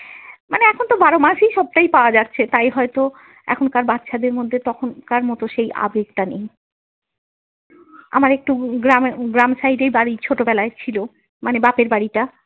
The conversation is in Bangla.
এখনতো বারোমাসই সবটাই পাওয়া যাচ্ছে তাই হয়ত এখনকার বাচ্ছাদের মধ্যে তখনকার মত সেই আবেগটা নেই, আমার একটু গ্রামে গ্রাম side এই বাড়ি ছোটবেলায় ছিল মানে বাপের বাড়িটা।